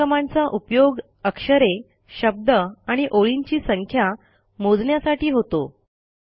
या कमांडचा उपयोग अक्षरे शब्द आणि ओळींची संख्या मोजण्यासाठी होतो